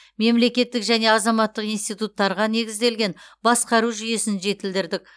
мемлекеттік және азаматтық институттарға негізделген басқару жүйесін жетілдірдік